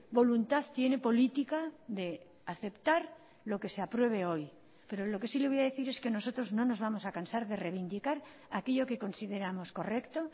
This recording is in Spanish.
voluntad tiene política de aceptar lo que se apruebe hoy pero lo que sí le voy a decir es que nosotros no nos vamos a cansar de reivindicar aquello que consideramos correcto